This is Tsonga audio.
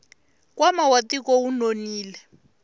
nkwama wa tiko wu nonile